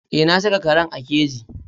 Eh na saka karen a keji.